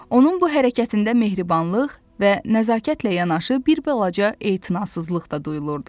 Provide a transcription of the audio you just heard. Onun bu hərəkətində mehribanlıq və nəzakətlə yanaşı bir balaca etinasızlıq da duyulurdu.